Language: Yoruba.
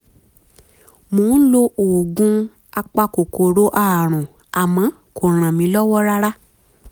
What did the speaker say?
mo ń lo oògùn apakòkòrò ààrùn àmọ́ kò ràn mí lọ́wọ́ rárá